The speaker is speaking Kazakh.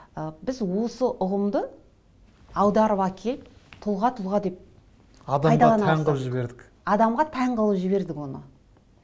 ы біз осы ұғымды аударып әкеліп тұлға тұлға деп адамға тән қылып жібердік адамға тән қылып жібердік оны